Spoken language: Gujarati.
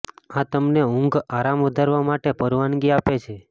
આ તમને ઊંઘ આરામ વધારવા માટે પરવાનગી આપે છે